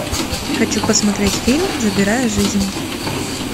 хочу посмотреть фильм забирая жизни